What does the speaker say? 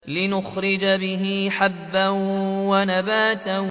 لِّنُخْرِجَ بِهِ حَبًّا وَنَبَاتًا